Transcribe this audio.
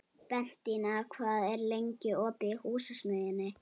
Bentína, hvað er lengi opið í Húsasmiðjunni?